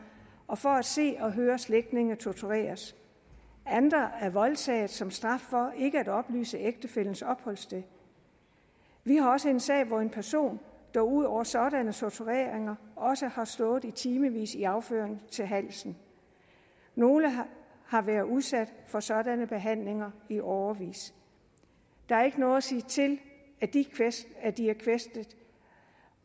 og for at se og høre slægtninge tortureres andre er voldtaget som straf for ikke at oplyse ægtefællens opholdssted vi har også en sag hvor en person der ud over sådan tortur også har stået i timevis i afføring til halsen nogle har været udsat for sådanne behandlinger i årevis der er ikke noget at sige til at de at de er kvæstede